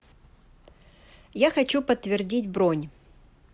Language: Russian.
я хочу подтвердить бронь